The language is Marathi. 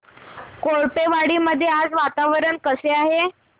कोळपेवाडी मध्ये आज वातावरण कसे आहे